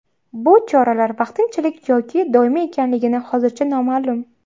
Bu choralar vaqtinchalik yoki doimiy ekanligi hozircha noma’lum.